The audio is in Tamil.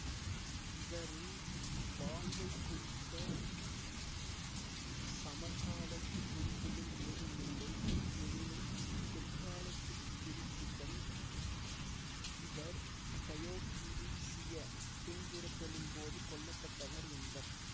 இவரின் வாழ்வைக்குறித்த சமகாலத்து குறிப்புகள் ஏதுமில்லை எனினும் பிற்காலத்து குறிப்புகள் இவர் தயோக்கிளீசிய துன்புறுத்துதலின் போது கொல்ல பட்டார் என்பர்